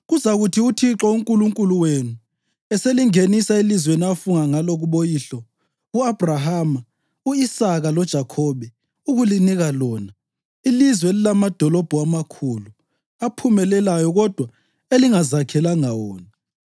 Kuzakuthi uThixo uNkulunkulu wenu eselingenisa elizweni afunga ngalo kuboyihlo, u-Abhrahama, u-Isaka loJakhobe, ukulinika lona, ilizwe elilamadolobho amakhulu, aphumelelayo kodwa elingazakhelanga wona,